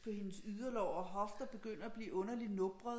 På hendes yderlår og hofter begynder at blive underligt nubret